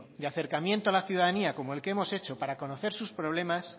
de acercamiento a la ciudadanía como el que hemos hecho para conocer sus problemas